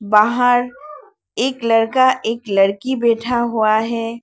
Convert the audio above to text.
बाहर एक लड़का एक लड़की बैठा हुआ है।